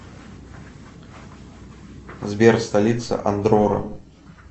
сбер столица андорра